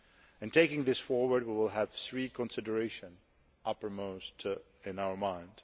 In taking this forward, we will have three considerations uppermost in our minds.